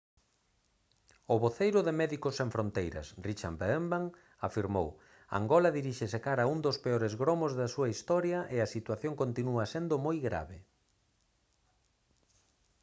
o voceiro de médicos sen fronteiras richard veerman afirmou: «angola diríxese cara a un dos peores gromos da súa historia e a situación continúa sendo moi grave»